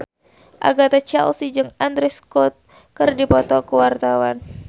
Agatha Chelsea jeung Andrew Scott keur dipoto ku wartawan